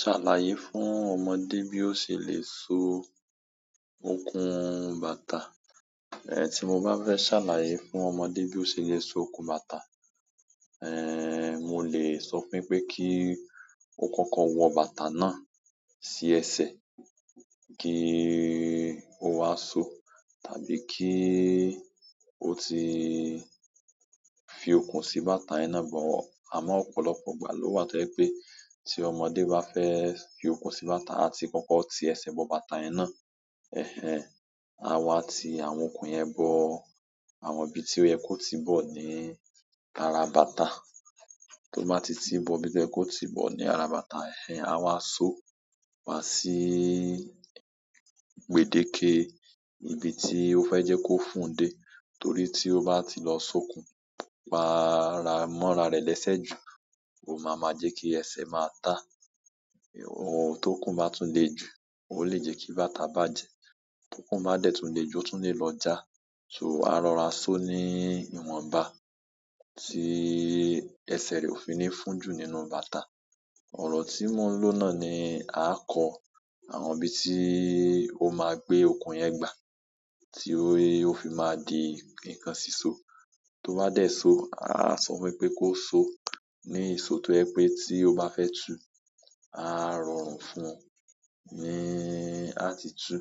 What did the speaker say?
Ṣàlàyé fún ọmọdé bí ó ṣe lè so okùn bàtà. Tí mo bá fẹ́ ṣàlàyé fún ọmọdé bí ó ṣe lè so okùn bàtà, mo lè sọ fún wípé kí ó kọ́kọ́ wọ bàtà náà sí ẹsẹ̀ kí ó wá soó. Tàbí kí ó ti fi okùn sí bàtà yẹn náà bọ̀. Àmọ́ ọ̀pọ̀lọpọ̀ ìgbà ló wà tó jẹ́ pé tí ọmọdé bá fẹ́ fi okùn sí bàtà, a ti kọ́kọ́ ti ẹsẹ̀ bọ̀ bàtà yẹn ná. Ẹ̀hẹn, a wá ti àwọn okùn yẹn bọ, àwọn ibi tí ó yẹ kó tìí bọ̀ ní ara bàtà. Tó bá ti tìí bọ̀ ibi tó yẹ kí ó tìí bọ̀ ní ara bàtà, ẹ̀hẹn, a wá soó wá sí gbèdéke ibi tí ó fẹ́ jẹ́ kó fún òundé. Torí tí ó bá ti lọ so okùn, pa ara mọ́ ara rẹ̀ lẹ́sẹ̀ ju, ó máa ma jẹ́ kí ẹsẹ̀ ma máa táa. But tókùn bá tún lè jù, ó lè jẹ́ kí bàtà bàjẹ́. Tókùn bá dẹ̀ tún le jù, ó tún lè lọ já. So a rọra so ní ìwọ̀nba tí ẹsẹ̀ rẹ ò fi ní fún jù nínú bàtà. Ọ̀rọ̀ tí mò ń ló náà ni, a kọ àwọn ibi tí ó máa gbé okùn yẹn gbà tí ó fi máa di nǹkan síso. Tó bá dẹ̀ soó, a sọ fún pé kó soó ní ìso tó jẹ́ pé tí ó bá fẹ́ tu, a rọrùn fún un ní a tí tú.